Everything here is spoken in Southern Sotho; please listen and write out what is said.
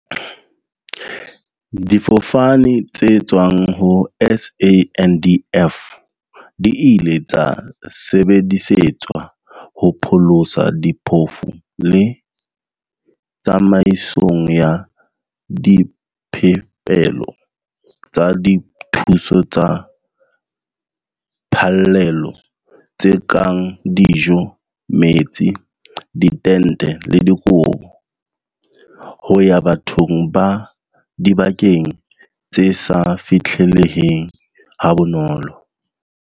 Difofane tse tswang ho SANDF di ile tsa sebedisetswa ho pholosa diphofu le tsamaisong ya diphepelo tsa dithuso tsa phallelo tse kang dijo, metsi, ditente le dikobo ho ya bathong ba dibakeng tse sa fihlelleheng ha bonolo.